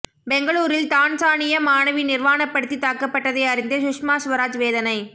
பெங்களூரில் தான்சானிய மாணவி நிர்வாணப்படுத்தி தாக்கப்பட்டதை அறிந்து சுஷ்மா ஸ்வராஜ் வேதனை